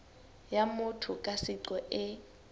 ya motho ka seqo e